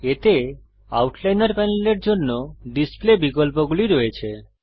এতে আউটলাইনর প্যানেলের জন্য ডিসপ্লে বিকল্পগুলি রয়েছে